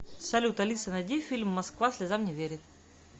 салют алиса найди фильм москва слезам не верит